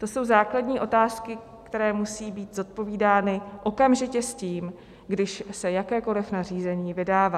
To jsou základní otázky, které musí být zodpovídány okamžitě s tím, když se jakékoliv nařízení vydává.